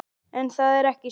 En það er ekki svo.